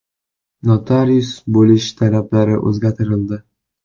Notarius bo‘lish talablari o‘zgartirildi.